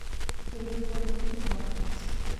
Timbe kod kido mag Paska.